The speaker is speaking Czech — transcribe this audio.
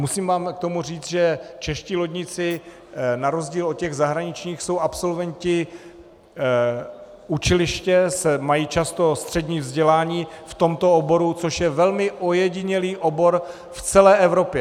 Musím vám k tomu říct, že čeští lodníci na rozdíl od těch zahraničních jsou absolventi učiliště, mají často střední vzdělání v tomto oboru, což je velmi ojedinělý obor v celé Evropě.